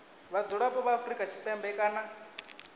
vhadzulapo vha afrika tshipembe kana